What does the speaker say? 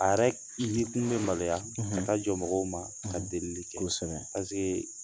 A yɛrɛ yekun bɛ maloya ka taa jɔ mɔgɔw ma ka delili kɛ